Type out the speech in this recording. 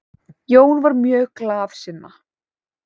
Jón var mjög glaðsinna.